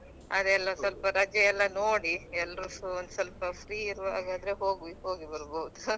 ಅದೇ ಎಲ್ಲ ಸ್ವಲ್ಪ ರಜೆಯೆಲ್ಲ ನೋಡಿ ಎಲ್ರು ಸ್ವಲ್ಪ free ಇರುವಾಗ ಆದ್ರೆ ಹೋಗಿ ಬರ್ಬಹುದು .